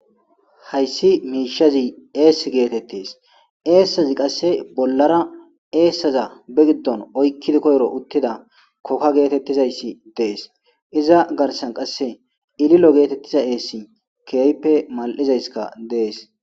Hays mushaz ees getes , esaz qase bollara esaza koyro be gidon oykid utida koka getetizays Des , iza garsan qase keehippe mali'izays ililo getetizays des